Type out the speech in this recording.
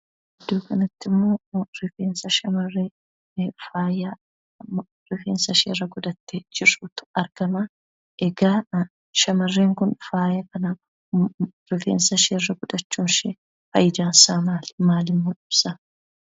Iddoo kanattimmoo rifeensa shamarree faayarifeensa isheerra godhattee jirtuutu argama. Egaa shamarreen kun faaya kana rifeensa isheerra godhachuun fayidaan isaa maali? Maalimmoo ibsaa?